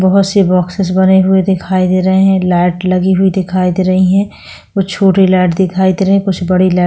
बहोत सी बॉक्सेस बने हुए दिखाई दे रहे है लाइट लगे हुए दिखाई दे रही है कुछ छोटे लाइट दिखाई दे रही हैं कुछ बड़े लाइट -